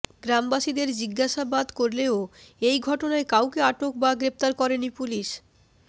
গ্রামবাসীদের জিজ্ঞাসাবাদ করলেও এই ঘটনায় কাউকে আটক বা গ্রেফতার করেনি পুলিশ